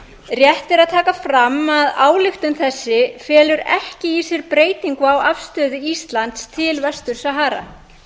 rétt er að taka fram að ályktun þessi felur ekki í sér breytingu á afstöðu íslands til vestur til sahara